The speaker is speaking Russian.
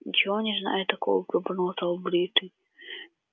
ничего не знаю такого пробормотал бритый